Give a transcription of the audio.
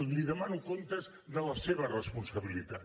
li demano comptes de la seva responsabilitat